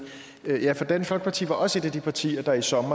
ja for dansk folkeparti var jo også et af de partier der i sommer